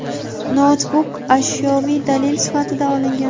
noutbuk ashyoviy dalil sifatida olingan.